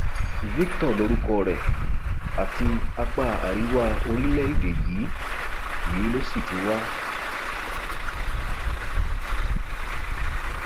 victor lorúkọ rẹ àti apá àríwá orílẹèdè yìí yìí ló sì ti wá